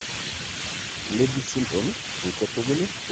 Liddle syndrome eng' tugul konyorunen severe, kanamet ab let eng' hypertension